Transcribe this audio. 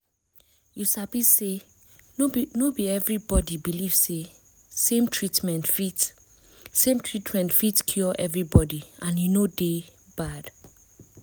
you sabi say no be everybody believe say same treatment fit same treatment fit cure everybody and e no dey bad